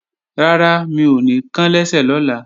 Rárá, mi ò ní kán lẹ́sẹ̀ lọ́la